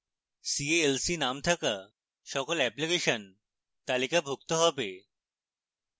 c a l c name থাকা সকল application তালিকাভুক্ত have